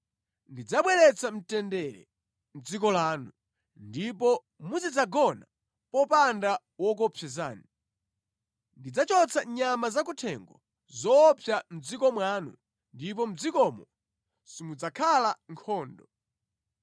“ ‘Ndidzabweretsa mtendere mʼdziko lanu, ndipo muzidzagona popanda wokuopsezani. Ndidzachotsa nyama zakuthengo zoopsa mʼdziko mwanu, ndipo mʼdzikomo simudzakhala nkhondo.